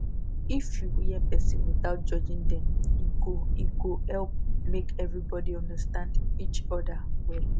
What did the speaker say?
if you hear person without judging dem e go e go help make everybody understand each other well